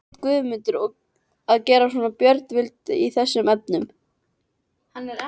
Hét Guðmundur að gera sem Björn vildi í þessum efnum.